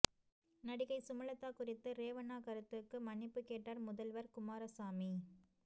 நடிகை சுமலதா குறித்து ரேவண்ணா கருத்துக்கு மன்னிப்புக் கேட்டார் முதல்வர் குமாரசாமி